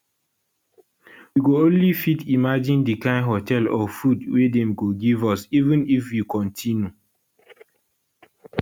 we go only fit imagine di kain hotel or food wey dem go give us even if we kontinu